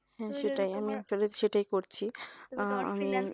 সেটাই করছি